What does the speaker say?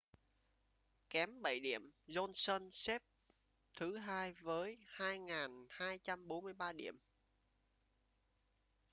kém bảy điểm johnson xếp thứ hai với 2.243 điểm